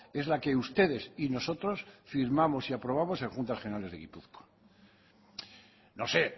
es la que ustedes y nosotros firmamos y aprobamos en juntas generales de gipuzkoa no se